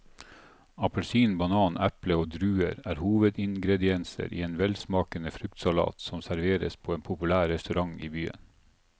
Appelsin, banan, eple og druer er hovedingredienser i en velsmakende fruktsalat som serveres på en populær restaurant i byen.